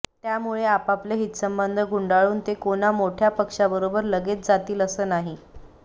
त्यामुळे आपापले हितसंबंध गुंडाळून ते कोणा मोठ्या पक्षाबरोबर लगेच जातील असं नाही